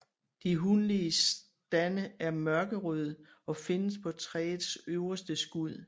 De hunlige stande er mørkerøde og findes på træets øverste skud